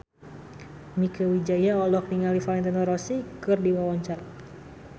Mieke Wijaya olohok ningali Valentino Rossi keur diwawancara